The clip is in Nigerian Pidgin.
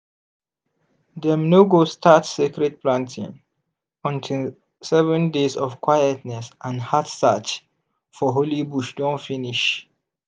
dem no go start sacred planting until seven days of quietness and heart search for holy bush don finish.